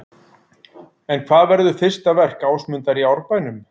En hvað verður fyrsta verk Ásmundar í Árbænum?